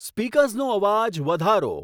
સ્પીકર્સનો અવાજ વધારો